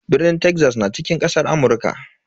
Birni Texas na cikin kasar Amurka.